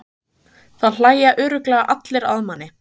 Það hlæja örugglega allir að manni.